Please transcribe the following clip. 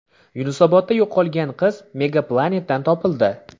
Yunusobodda yo‘qolgan qiz Mega Planet’dan topildi.